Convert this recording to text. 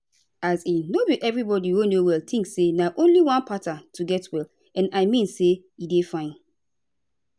as in no be everybody wey no well tink say na only one pattern to get well and i mean say e dey fine